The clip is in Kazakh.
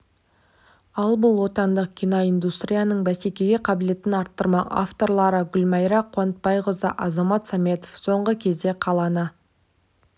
ал бұл отандық кино индустрияның бәсекеге қабілеттігін арттырмақ авторлары гүлмайра қуатбайқызы азамат сәметов соңғы кезде қаланы